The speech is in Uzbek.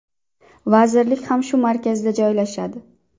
Vazirlik ham shu markazda joylashadi.